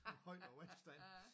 Højere vandstand